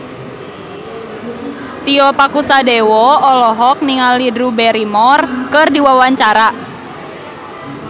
Tio Pakusadewo olohok ningali Drew Barrymore keur diwawancara